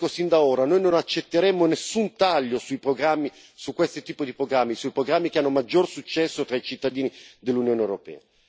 E lo dico fin da ora noi non accetteremo nessun taglio su questo tipo di programmi, sui programmi che hanno maggior successo tra i cittadini dell'Unione europea.